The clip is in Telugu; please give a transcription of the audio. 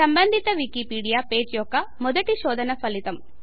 సంబంధిత వికీపీడియా పేజీ యొక్క మొదటి శోధన ఫలితం